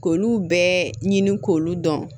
K'olu bɛɛ ɲini k'olu dɔn